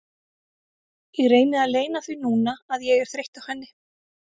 Ég reyni að leyna því núna að ég er þreytt á henni.